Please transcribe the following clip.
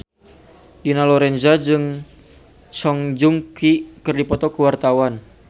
Dina Lorenza jeung Song Joong Ki keur dipoto ku wartawan